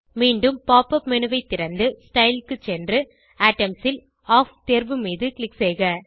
மீண்டும் pop up menu ஐ திறந்து ஸ்டைல் க்கு சென்று ஏட்டம்ஸ் ல் ஆஃப் தேர்வு மீது க்ளிக் செய்க